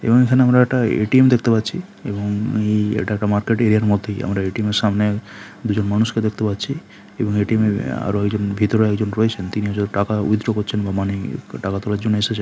এবং এখানে আমরা একটা এ.টি.এম. দেখতে পাচ্ছি এবং এই এটা একটা মার্কেট এরিয়া আর মধ্যেই আমরা এ.টি.এম. -এর সামনে দুজন মানুষকে দেখতে পাচ্ছি এবং এ.টি.এম. -এর আরো একজন ভেতরে একজন রয়েছেন । তিনি হয়তো টাকা উইথড্র করছেন বা মানে টাকা তোলার জন্যে এসেছে--